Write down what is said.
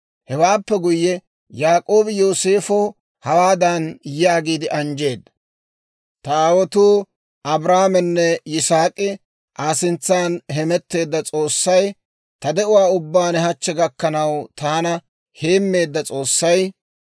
Hewaappe guyye, Yaak'oobi Yooseefa hawaadan yaagiide anjjeedda; «Ta aawotuu Abrahaamenne Yisaak'i Aa sintsan hemetteedda S'oossay, Ta de'uwaa ubbaan hachche gakkanaw taana heemmeedda S'oossay,